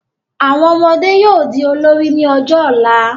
Àwọn ọmọdé yóò di olórí ní ọjọ́ ọ̀la